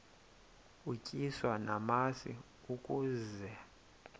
utyiswa namasi ukaze